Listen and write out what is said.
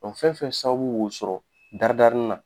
fɛn fɛn sababu b'o sɔrɔ daridarinin na